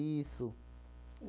Isso.